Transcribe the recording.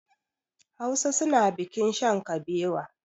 Hausa suna bikin shan kabewa.